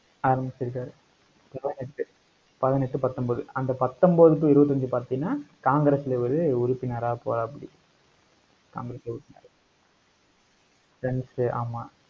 ஆரம்பிச்சிருக்காரு பதினெட்டு பதினெட்டு பத்தொன்பது அந்த பத்தொன்பது to இருபத்தஞ்சு பார்த்தீங்கன்னா காங்கிரஸ்ல இவரு உறுப்பினரா போறாப்படி. காங்கரஸ் உறுப்பினரா friends ஆமா